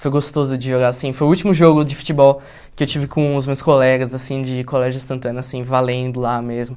Foi gostoso de jogar assim, foi o último jogo de futebol que eu tive com os meus colegas assim de colégio instantâneo, valendo lá mesmo.